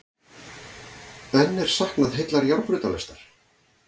Enn er saknað heillar járnbrautalestar